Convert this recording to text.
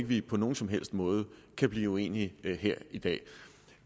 vi på nogen som helst måde kan blive uenige her i dag